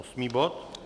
Osmý bod?